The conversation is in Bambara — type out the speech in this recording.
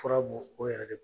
Fura bɔ o yɛrɛ de